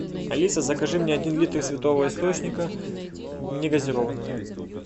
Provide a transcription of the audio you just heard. алиса закажи мне один литр святого источника негазированную